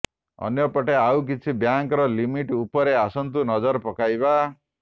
ଅନ୍ୟ ପଟେ ଆଉକିଛି ବ୍ୟାଙ୍କର ଲିମିଟ ଉପରେ ଆସନ୍ତୁ ନଜର ପକାଇବା